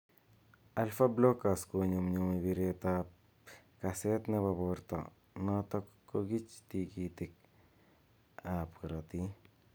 Alpha blockers �konyumnyumu bireet ap kaseet nepo borto notok kogichi tigitik ap karatiik